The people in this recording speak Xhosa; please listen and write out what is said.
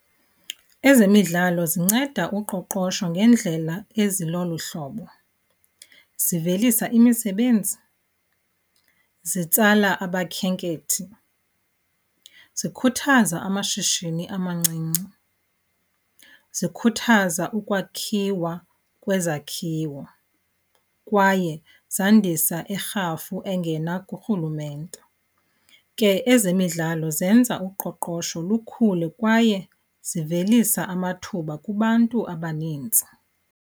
Ezemidlalo zinceda uqoqosho ngendlela ezilolu hlobo. Zivelisa imisebenzi, zitsala abakhenkethi, zikhuthaza amashishini amancinci, zikhuthaza ukwakhiwa kwezakhiwo kwaye zandisa irhafu engena kurhulumente. Ke ezemidlalo zenza uqoqosho lukhule kwaye zivelisa amathuba kubantu abanintsi.